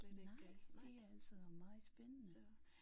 Nej det er altså meget spændende